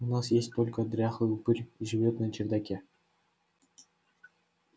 у нас есть только дряхлый упырь живёт на чердаке